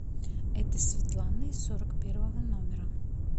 это светлана из сорок первого номера